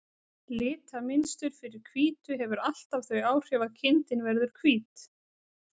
Litamynstur fyrir hvítu hefur alltaf þau áhrif að kindin verður hvít.